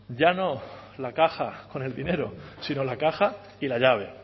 ya no la caja con el dinero sino la caja y la llave